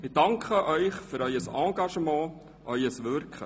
Ich danke Ihnen für Ihr Engagement und ihr Wirken.